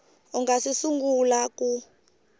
u nga si sungula ku